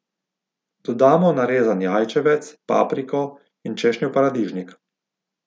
Dodamo narezan jajčevec, papriko in češnjev paradižnik.